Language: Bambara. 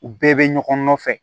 U bɛɛ bɛ ɲɔgɔn nɔfɛ